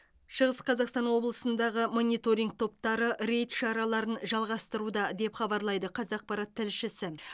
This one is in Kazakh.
шығыс қазақстан облысындағы мониторинг топтары рейд шараларын жалғастыруда деп хабарлайды қазақпарат тілшісі